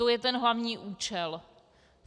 To je ten hlavní účel.